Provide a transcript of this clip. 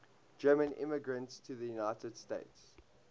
german immigrants to the united states